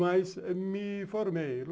Mas me formei.